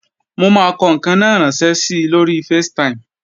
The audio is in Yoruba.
Mo máa kọ ǹkan náà ránṣẹ́ si lóri Facetime